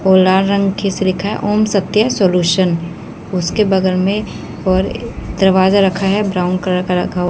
और लाल रंग से लिखा है ओम सत्य सलूशन उसके बगल मे और दरवाजा रखा है ब्राउन कलर का रखा --